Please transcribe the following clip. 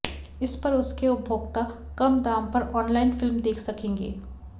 इस पर उसके उपभोक्ता कम दाम पर ऑनलाइन फिल्म देख सकेंगे